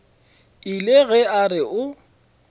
ile ge a re o